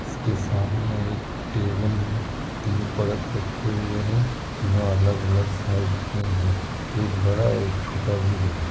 इसके सामने एक टेबल मे तीन परत रखे हुए हैं तीनों अलग-अलग साइज के हैं। एक बड़ा एक छोटा भी है।